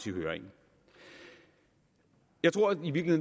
i høringen jeg tror at